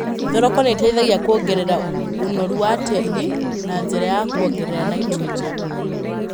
Thoroko nĩiteithagia kuongenera ũnoru wa tĩĩri na njĩra ya kuongerera naitũrũnjeni.